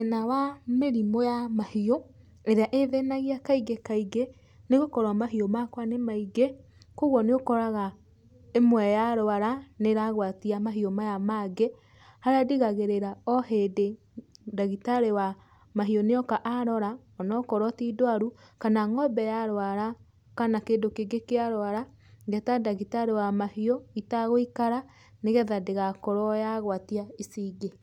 Thĩna wa mĩrimũ ya mahiũ, ĩrĩa ĩ thĩnagia kaingĩ kaingĩ, nĩ gũkorwo mahiũ makwa nĩ maingĩ, kogwo nĩ ũkoraga ĩmwe ya rũara nĩ ĩragũatia mahiũ maya mangĩ, harĩa ndigagĩrĩra o hĩndĩ, ndagĩtarĩ wa mahiũ nĩ oka arora onokorwo ti ndũaru, kana ngombe yarũara kana kĩndũ kĩngĩ kĩa rũara, ngeta ndagĩtarĩ wa mahiũ itagũikara nĩgetha ndĩgakorwo yagwatia ici ingĩ.